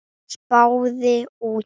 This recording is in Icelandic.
Spaði út.